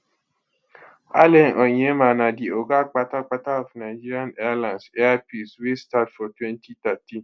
allen onyema na di oga kpatapata of nigeria airlines air peace wey start for 2013